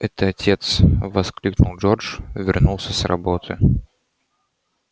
это отец воскликнул джордж вернулся с работы